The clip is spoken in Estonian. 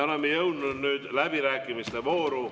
Oleme jõudnud läbirääkimiste vooru.